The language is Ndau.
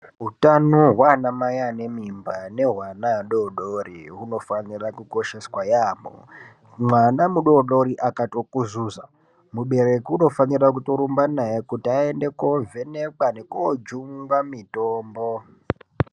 Hutano wanamayi anemimba newewana wadodori, unofanirwa kukosheswa yamo. Mwana mudodori akatokuzuza, mubereki unofana kutorumba naye kuti ayende kovhenekwa nekojungwa mitombo.